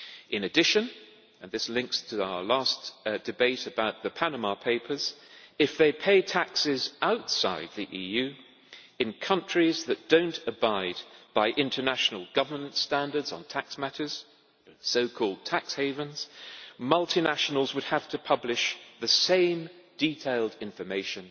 In addition and this links to our last debate on the Panama papers if they pay taxes outside the EU, in countries that do not abide by international governance standards on tax matters so called tax havens multinationals would have to publish the same detailed information